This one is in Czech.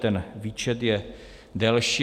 Ten výčet je delší.